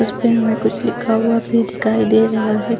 उसपे हमे कुछ लिखा हुआ भी दिखाई दे रहा है।